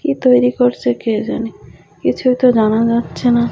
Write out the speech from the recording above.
কী তৈরি করছে কে জানে কিছুই তো জানা যাচ্ছে না।